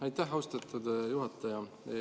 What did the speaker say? Aitäh, austatud juhataja!